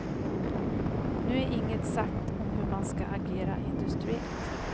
Nu är inget sagt om hur man skall agera industriellt.